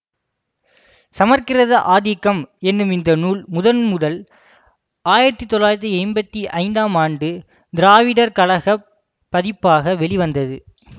சமற்கிருத ஆதிக்கம் என்னும் இந்த நூல் முதன் முதல் ஆயிரத்தி தொள்ளாயிரத்தி எம்பத்தி ஐந்தாம் ஆண்டு திராவிடர் கழக ப் பதிப்பாக வெளிவந்தது